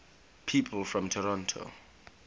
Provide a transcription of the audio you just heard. people from toronto